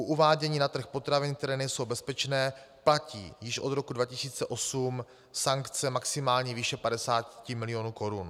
U uvádění na trh potravin, které nejsou bezpečné, platí již od roku 2008 sankce maximální výše 50 milionů korun.